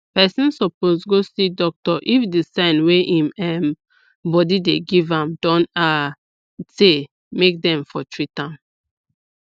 person suppose go see doctor if the sign wey im um body dey give am don um tey make dem for treat am